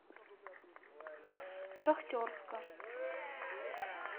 шахтерска